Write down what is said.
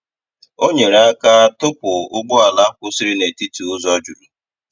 Ọ nyerè aka tụ̀pụ̀ ụgbọ̀ala kwụsịrị n’etiti ụzọ jurù.